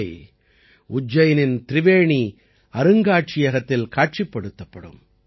இவை உஜ்ஜைனின் திரிவேணி அருங்காட்சியகத்தில் காட்சிப்படுத்தப்படும்